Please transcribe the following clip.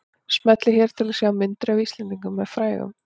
Smellið hér til að sjá myndir af Íslendingum með frægum